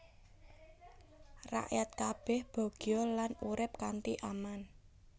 Rakyat kabèh bagya lan urip kanthi aman